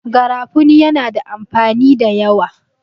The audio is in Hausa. garafuni yana da amfani da yawa